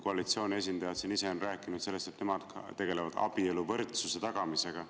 Koalitsiooni esindajad on ise siin rääkinud sellest, et nemad tegelevad abieluvõrdsuse tagamisega.